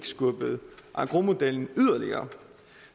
skubbet engrosmodellen yderligere